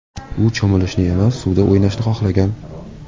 U cho‘milishni emas, suvda o‘ynashni xohlagan.